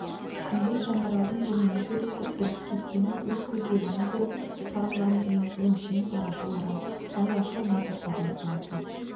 күндіз жандаралдың бұнымен сөйлесіп бірге кеткенін өз көздерімен көріп тарылған ең өңшең парашыл арам айлашыл мансапқорлар болатын